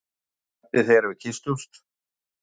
Hún kvaddi þegar við kysstumst.